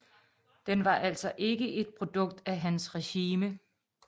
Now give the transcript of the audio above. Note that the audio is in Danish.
Den var altså ikke et produkt af hans regime